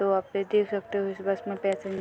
तो आप ये देख सकते हो इस बस में पेसेंज़र --